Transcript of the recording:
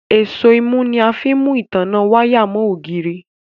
Èṣó imú ní a fín mú ìtanná waya mo ògidì.